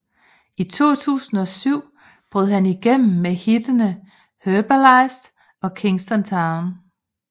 I 2007 brød han igennem med hittene Herbalist og Kingston Town